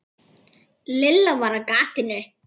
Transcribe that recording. Lilla var á gatinu.